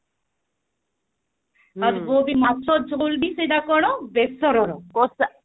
ଆଉ ଯୋଉ ମାଛ ଝୋଲ ବି ସେଟା କଣ ବେସର ର